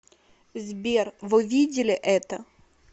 сбер вы видели это